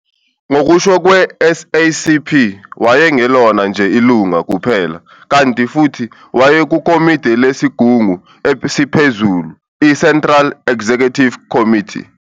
Ngokusho kwe-SACP, wayengelona nje ilunga kuphela, kanti futhi wayekukomidi lesigungu esiphezulu, i-Central Executive Committee.